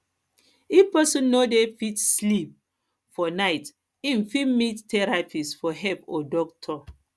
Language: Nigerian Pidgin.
if person no dey fit sleep for night im fit meet therapist for help or doctor